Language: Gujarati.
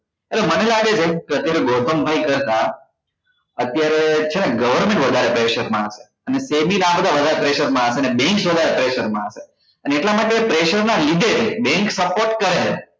હવે મને લાગે છે કે અત્યારે ગૌતમ ભાઈ કરતા અત્યારે છે ને government વધારે pressure માં હશે અને આ વધારે pressure માં હશે bank જેવા pressure માં હશે ને એટલા માટે pressure નાં લીધે bank support કરે છે